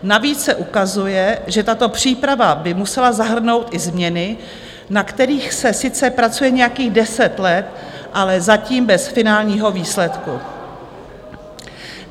Navíc se ukazuje, že tato příprava by musela zahrnout i změny, na kterých se sice pracuje nějakých deset let, ale zatím bez finálního výsledku.